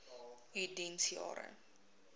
u diens jare